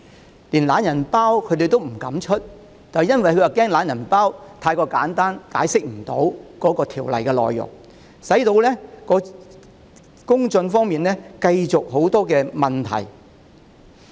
當局連"懶人包"也不敢發出，原因是害怕"懶人包"太過簡單，無法解釋修訂條例的內容，結果公眾繼續有很多疑問。